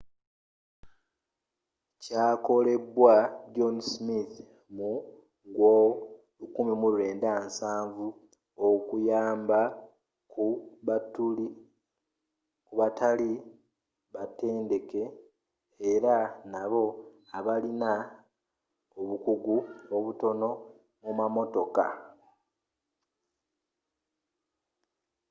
kyakolebwa john smith mu gyo 1970 okuyamba ku batali batendeke era nabo abalina obukugu obutono mu mamotoka